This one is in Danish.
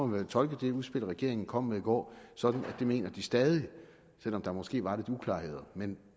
vel tolke det udspil som regeringen kom med i går sådan at det mener de stadig selv om der måske var lidt uklarheder men